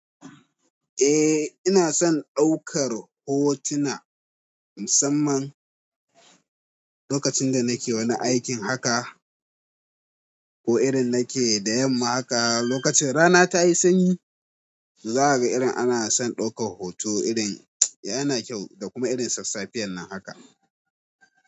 Eh ina son ɗaukar hotuna musamman lokacin da nake wani aikin haka ko idan nake da yamma haka lokacin rana tayi sanyi, za a ga irin ana son ɗaukar hoto irin yana kyau da kuma irin sassafiya nan haka.